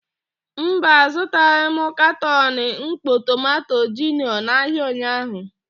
Mba, azụtaghị m katọn mkpọ tomanto gino n'ahịa ụnyaahụ.